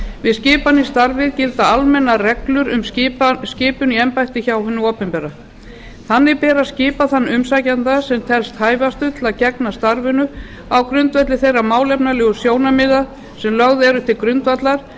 við skipan í starfið gilda almennar reglur um skipun í embætti hjá hinu opinbera þannig ber að skipa þann umsækjanda sem telst hæfastur til að gegna starfinu á grundvelli þeirra málefnalegu sjónarmiða sem lögð eru til grundvallar